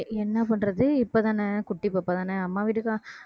என்ன பண்றது இப்பதானே குட்டி பாப்பாதானே அம்மா வீட்டுக்கா~